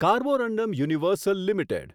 Carborundum Universal limited